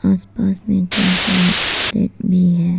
आसपास में कई सारे प्लेट में है।